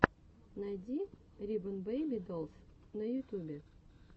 найди рибон бэйби долс на ютубе